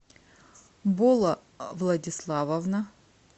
бола владиславовна